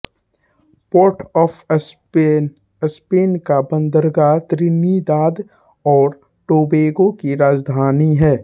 port of Spain Spain का बंदरगाह Trinidad और टोबैगो की राजधानी है